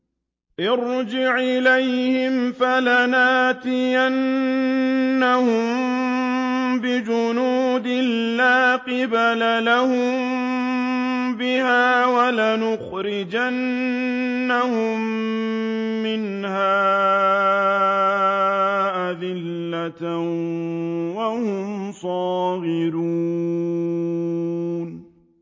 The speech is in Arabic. ارْجِعْ إِلَيْهِمْ فَلَنَأْتِيَنَّهُم بِجُنُودٍ لَّا قِبَلَ لَهُم بِهَا وَلَنُخْرِجَنَّهُم مِّنْهَا أَذِلَّةً وَهُمْ صَاغِرُونَ